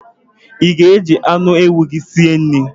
I ga- eji anụ ewu gị si nri?